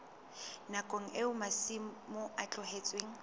nakong eo masimo a tlohetsweng